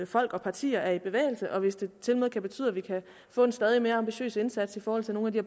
folk og partier er i bevægelse og hvis det tilmed kan betyde at vi kan få en stadig mere ambitiøs indsats i forhold til nogle af de